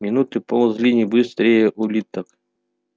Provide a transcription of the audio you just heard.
минуты ползли не быстрее улиток